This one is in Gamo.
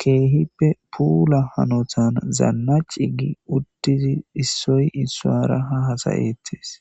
keehippe puula hanotan zaanna cigi uttizi issoy issaara ha hasayettes